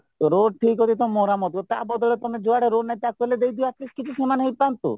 road ଠିକ ଅଛିତ ମରାମତି ତା ବଦଳରେ ଯୁଆଡେ ରୋଡ ନାହିଁ ତାକୁ ହେଲେ ଦେଇଦିଅ at least କିଛି ସେମାନେହିଁ ପାଆନ୍ତୁ